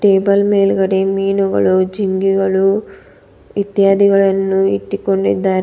Table ಮೇಲ್ಗಡೆ ಮೀನುಗಳು ಜಿಂಗಿಗಳು ಇತ್ಯಾದಿಗಳನ್ನು ಇಟ್ಟುಕೊಂಡಿದ್ದಾರೆ.